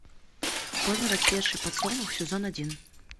поздно расцветший подсолнух сезон один